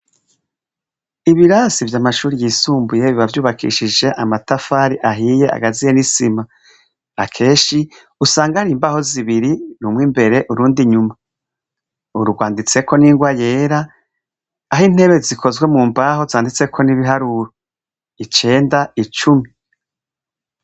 Ibirasi vyamashure yisumbuye biba vyubakishije amatafari ahiye akaziye nisima akenshi usanga usanga hari imbaho zibiri rumwe imbere urundi inyuma rwanditseho ningwa yera aho intebe zikozwe mumbaho zanditsweho nibiharuro icenda ,icumi.